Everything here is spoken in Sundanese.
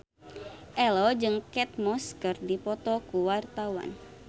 Ello jeung Kate Moss keur dipoto ku wartawan